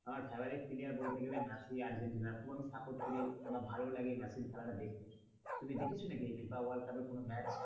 আমার favorite player বলতে গেলে মেসি আর্জেন্টিনার খুব সাপোর্ট করি বা ভালো লাগে মেসির খেলা দেখতে তুমি দেখেছো নাকি ফিফা ওয়ার্ল্ড কাপের কোন ম্যাচ?